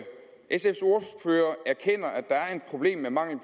et problem med mangel